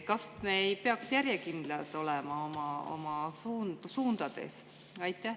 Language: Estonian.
Kas me ei peaks järjekindlad olema oma suundades?